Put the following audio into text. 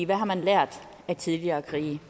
hvad har man lært af tidligere krige